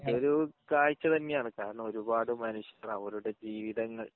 അതൊരു കാഴ്ച്ച തന്നെയാണ് കാരണം ഒരുപാട് മനുഷ്യർ അവരുടെ ജീവിതങ്ങൾ